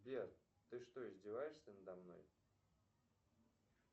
сбер ты что издеваешься надо мной